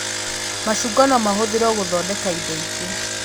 Macungwa no mahũthĩrwo gũthondeka indo ingĩ